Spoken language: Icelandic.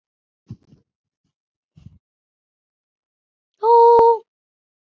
Réttir mér hönd þína.